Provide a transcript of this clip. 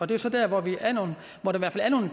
det er så der hvor der er nogle